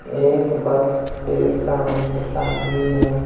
एक बस के सामने आदमी है।